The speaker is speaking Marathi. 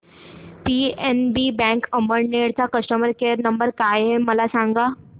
पीएनबी बँक अमळनेर चा कस्टमर केयर नंबर काय आहे मला सांगा